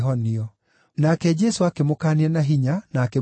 Nake Jesũ akĩmũkaania na hinya na akĩmwĩra athiĩ,